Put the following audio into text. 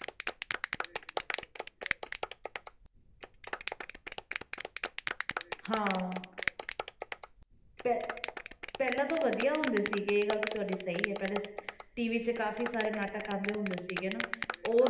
ਹਾਂ ਪਹਿ~ ਪਹਿਲਾਂ ਵਧੀਆ ਹੁੰਦੇ ਸੀਗੇ ਇਹ ਗੱਲ ਤਾਂ ਤੁਹਾਡੀ ਸਹੀ ਹੈ, ਪਹਿਲੇ TV ਤੇ ਕਾਫ਼ੀ ਸਾਰੇ ਨਾਟਕ ਆਉਂਦੇ ਹੁੰਦੇ ਸੀਗੇ ਨਾ ਉਹ